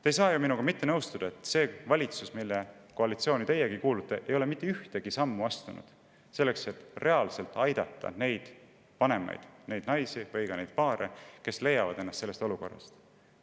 Te ei saa ju minuga mitte nõustuda, et see valitsuskoalitsioon, kuhu teiegi kuulute, ei ole astunud mitte ühtegi sammu selleks, et reaalselt aidata neid vanemaid, neid naisi või neid paare, kes leiavad ennast sellisest olukorrast.